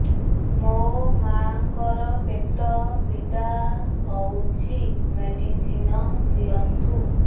ମୋ ମାଆଙ୍କର ପେଟ ପୀଡା ହଉଛି ମେଡିସିନ ଦିଅନ୍ତୁ